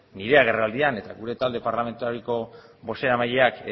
nire agerraldian eta gure talde parlamentarioko bozeramaileak